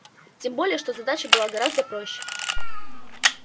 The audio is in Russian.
тем более что задача была гораздо проще